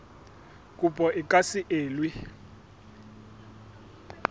kopo e ka se elwe